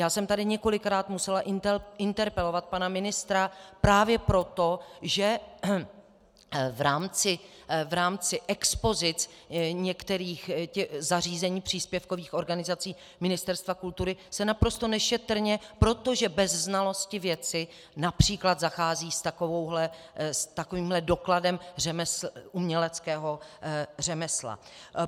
Já jsem tady několikrát musela interpelovat pana ministra právě proto, že v rámci expozic některých zařízení příspěvkových organizací Ministerstva kultury se naprosto nešetrně, protože bez znalosti věci, například zachází s takovýmhle dokladem uměleckého řemesla.